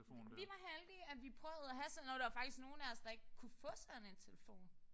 Vi var heldige at vi prøvede at have sådan og der var faktisk nogen af os der ikke kunne få sådan en telefon